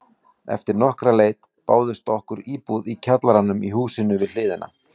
Eftir nokkra leit bauðst okkur íbúð í kjallaranum í húsinu við hliðina.